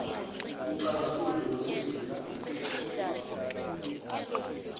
umxazululi ngosizo luka